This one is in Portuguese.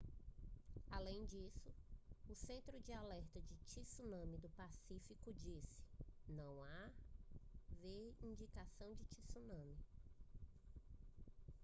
além disso o centro de alerta de tsunami do pacífico disse não haver indicação de tsunami